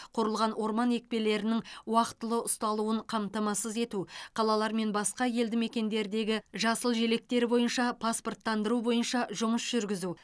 құрылған орман екпелерінің уақытылы ұсталуын қамтамасыз ету қалалар мен басқа елді мекендердегі жасыл желектер бойынша паспорттандыру бойынша жұмыс жүргізу